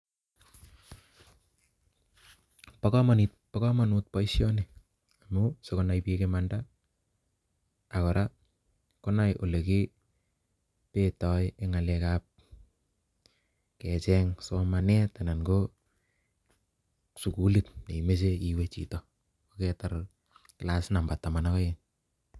Pogomonuut poisioni amun sigonai piik imanda ak koraa konai ole kii beetoe en ngal ab kecheng somanet anan ko sugulit neimoche iwee chito yekaitar class number taman ak oeng.